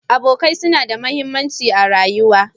Abokai suna da mahimmanci a rayuwa.